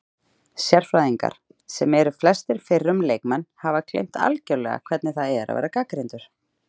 Sérfræðingar, sem eru flestir fyrrum leikmenn, hafa gleymt algjörlega hvernig það er að vera gagnrýndur